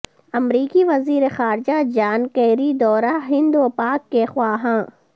امریکی وزیر خارجہ جان کیری دورہ ہند و پاک کے خواہاں